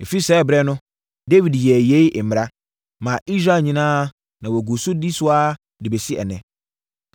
Ɛfiri saa ɛberɛ no, Dawid yɛɛ yei mmara, maa Israel nyinaa na wɔgu so di so saa ara de bɛsi ɛnnɛ.